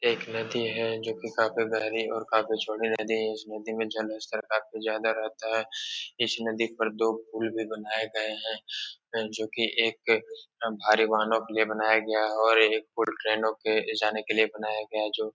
ये एक नदी है जो कि काफी गहरी और काफ़ी छोटी नदी है। इस नदी में जलस्तर काफी ज़्यादा रहता है। इस नदी पर दो पुल भी बनाये गये हैं जो कि एक भारी वाहनों के लिए बनाया गया है और एक पूल ट्रेनों के जाने लिए बनाया गया है जो --